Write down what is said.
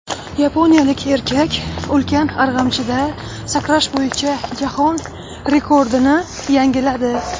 Yaponiyalik erkak ulkan arg‘amchida sakrash bo‘yicha jahon rekordini yangiladi .